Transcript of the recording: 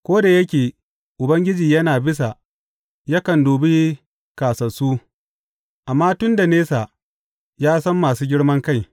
Ko da yake Ubangiji yana bisa, yakan dubi kāsassu, amma tun da nesa ya san masu girman kai.